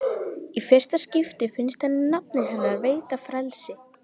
Í fyrsta skipti finnst henni nafnið hennar veita frelsi.